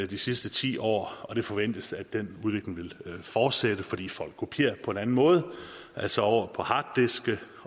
de sidste ti år og det forventes at den udvikling vil fortsætte fordi folk kopierer på en anden måde altså over på harddiske